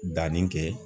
Danni kɛ